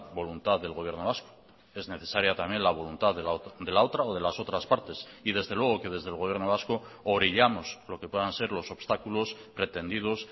voluntad del gobierno vasco es necesaria también la voluntad de la otra o de las otras partes y desde luego que desde el gobierno vasco orillamos lo que puedan ser los obstáculos pretendidos